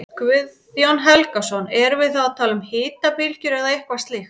Guðjón Helgason: Erum við þá að tala um hitabylgjur eða eitthvað slíkt?